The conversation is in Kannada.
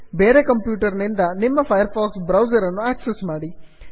ಬೇರೆ ಕಂಪ್ಯೂಟರ್ ನಿಂದ ನಿಮ್ಮ ಫೈರ್ ಫಾಕ್ಸ್ ಬ್ರೌಸರ್ ಅನ್ನು ಆಕ್ಸಸ್ ಮಾಡಿ